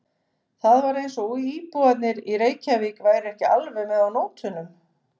Það var eins og íbúarnir í Reykjavík væru ekki alveg með á nótunum.